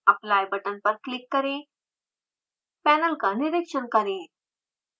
apply button पर click करें panel का निरिक्षण करें